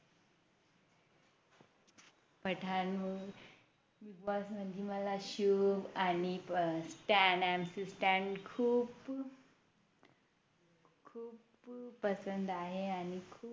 Pathan Big boss मध्ये मला शिव आणि Stan MC stan खूप खूप पसंद आहे आणि खूप